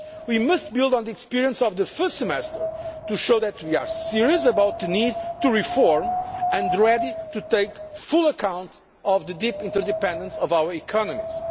We must build on the experience of the first semester to show that we are serious about the need to reform, and ready to take full account of the deep interdependence of our economies.